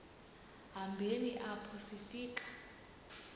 hambeni apho sifika